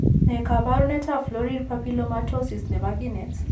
Ne kaabarunetap Florid papillomatosis ne po kineet?